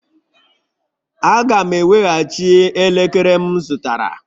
Aga m eweghachi elekere m zụtara